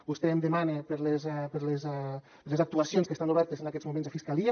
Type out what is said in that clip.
vostè em demana per les actuacions que estan obertes en aquests moments a fiscalia